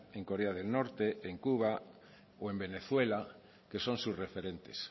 en corea del norte en cuba o en venezuela que son sus referentes